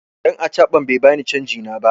Dan acaban bai bani canji na ba.